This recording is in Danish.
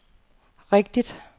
rigtigt